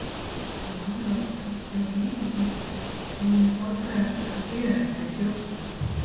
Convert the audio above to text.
Að námi loknu bjó Vísi-Gísli á hinum fornfræga stað Hlíðarenda í Fljótshlíð.